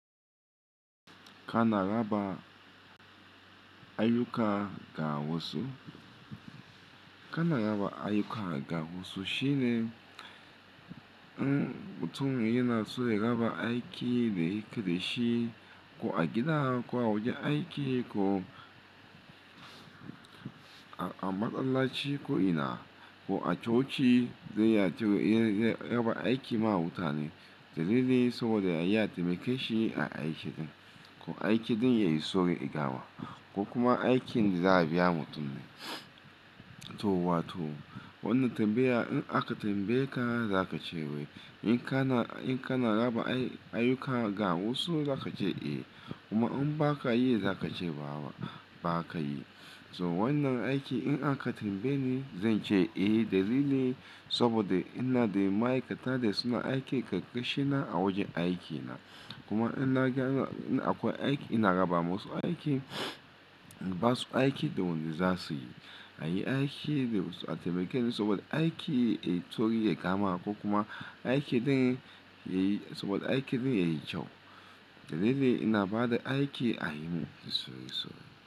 Ka na raba ayyuka ga wasu? Ka na raba ayyuka ga wasu shine, mm mutum yana so ya raba aiki da yake da shi. Ko a gida, ko a wajen aiki, ko a, a masallaci ko ina, ko a coci zai iya cewa yana raba aiki ma muta ne. Dalili saboda ya yi taimaka shi a aikin ko aiki din ya yisauri ya gama, ko kuma aikin da za a biya mutum ne. To wa to wannan tambaya in aka tambaye ka za ka ce wai in ka na, in ka na raba ayyuka ga wasu za ka ce eh, kuma in ba ka yi za ka ce ba ba ka yi. So wannan aiki in aka tambaye ni zan ce eh, dalili saboda ina da ma'aikata da suna aiki ƙarƙashina a wajen aikina. Kuma in na ga in akwai aiki ina raba masu aiki, inbasu aiki da wanda za su yi. A yi aiki da wasu a taimake ni saboda aiki ya iso ya gama ko kuma aiki din yayi, saboda aiki din yayi kyau. Dalili ina ba da aiki a yini sosai sosai.